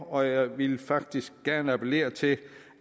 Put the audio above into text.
og jeg vil faktisk gerne appellere til